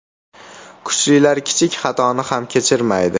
Kuchlilar kichik xatoni ham kechirmaydi.